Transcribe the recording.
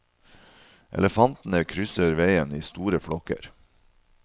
Elefantene krysser veien i store flokker.